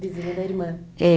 Vizinha da irmã? É